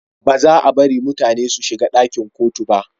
Ba za a bari mutane su shiga dakin kotu ba